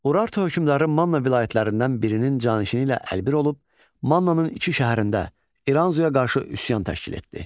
Urartu hökümdarı Manna vilayətlərindən birinin canişini ilə əlbir olub, Mannanın iki şəhərində İranzuya qarşı üsyan təşkil etdi.